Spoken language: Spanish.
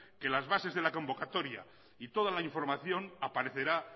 que las bases de la convocatoria y toda la información aparecerá